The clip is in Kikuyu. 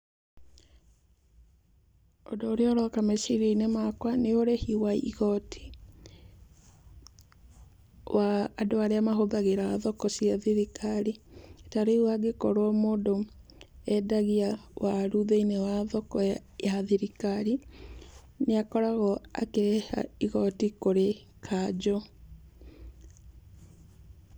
Ũndũ ũrĩa ũroka meciria-inĩ makwa nĩ ũrĩhi wa igoti wa andũ arĩa mahũthagĩra thoko cia thirikari. Ta rĩu angĩkkorwo mũndũ endagia waru thĩiniĩ wa thirikari, nĩ akoragwo akĩrĩha igoti kũrĩ kanjũ.